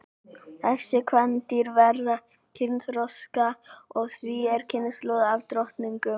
Þessi kvendýr verða kynþroska og því ný kynslóð af drottningum.